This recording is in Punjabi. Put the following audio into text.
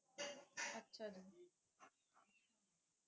ਅੱਛਾ ਜੀ